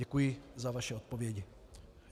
Děkuji za vaše odpovědi.